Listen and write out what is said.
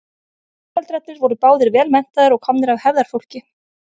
foreldrarnir voru báðir vel menntaðir og komnir af hefðarfólki